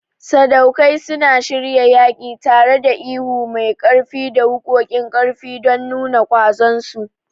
Sadaukai suma shiryawa yaƙi, tareda ihu mai ƙarfi ta da waƙoƙiu ƙarfi don nuna ƙwazon su.